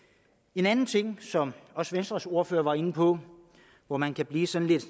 en anden ting som også venstres ordfører var inde på og hvor man kan blive sådan lidt